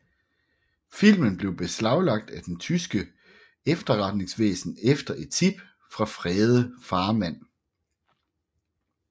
Filmen blev beslaglagt af det tyske efterretningsvæsen efter et tip fra Frede Farmand